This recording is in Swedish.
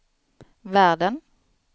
världen